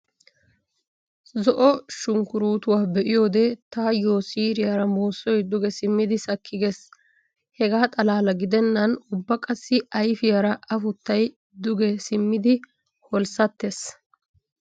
Zo'o shunkkuruutuwaa be'iyoode taayyo siiriyaara muussoy duge simmidi sakki gees. Hegaa xalaala gidennan ubba qassi ayfiyaara afuttay duge simmidi holssatees.